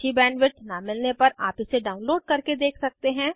अच्छी बैंडविड्थ न मिलने पर आप इसे डाउनलोड करके देख सकते हैं